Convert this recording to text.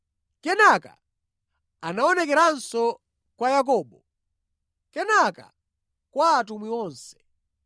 Kenaka anaonekeranso kwa Yakobo, kenaka kwa atumwi onse.